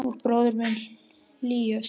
Og bróðir minn hlýju Sofíu.